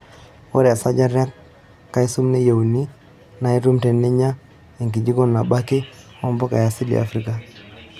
Ore esajata e kalsium nayieunoi naa itum teninya enkijiko nabo ake oompuka e asili e Afrika.